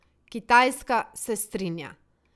Kitajska se strinja.